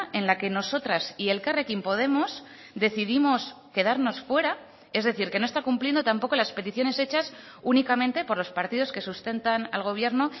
en la que nosotras y elkarrekin podemos decidimos quedarnos fuera es decir que no está cumpliendo tampoco las peticiones hechas únicamente por los partidos que sustentan al gobierno